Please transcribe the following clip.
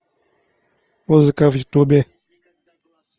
музыка в ютубе